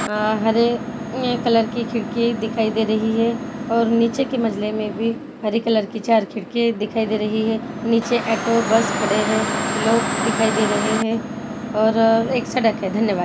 आ हरे कलर की खिड़की हरे कलर की खिड़की एक दिखाई दे रही है और नीचे के मंजले में भी हरे कलर की चार खिड़कियां दिखाई दे रही हैं नीचे ऐटो बस खड़ी हैं और लोग दिखाई दे रहे हैं और एक सड़क है धन्यवाद।